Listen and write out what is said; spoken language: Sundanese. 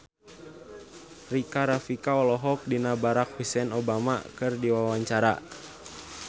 Rika Rafika olohok ningali Barack Hussein Obama keur diwawancara